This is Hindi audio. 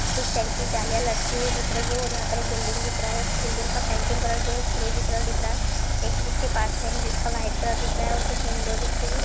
कुछ पेड़ की डालिया लटकी हुए दिख रही है और यहाँ पे एक बिल्डिंग दिख रहा है | बिल्डिंग का पेंटिंग कलर जो है | फिरोज़ी कलर दिख रहा है| एक उसके पास में है जो वाइट दिख रहा है और कुछ विंडो दिख रही है |